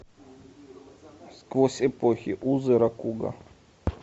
сквозь эпохи узы ракуго